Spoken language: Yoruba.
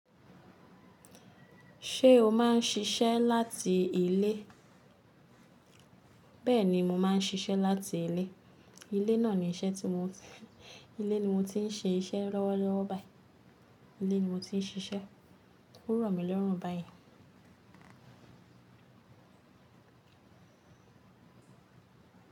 Ṣé o maá ń ṣiṣẹ́ láti ilé? Bẹ́ẹ̀ni, mo má ń ṣiṣẹ́ láti ilé. Ilé náà ni iṣẹ́ tí, ilé mo ti ń ṣe iṣẹ lọ́wọ́lọ́wọ́ báyìí. Ilé ni mo ti ń ṣiṣẹ́. O ró mi lórún báyìí.